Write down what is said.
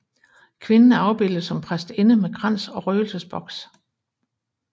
Kvinden er afbildet som præstinde med krans og røgelsesboks